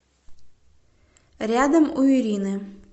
рядом у ирины